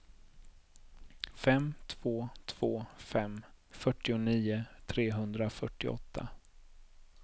fem två två fem fyrtionio trehundrafyrtioåtta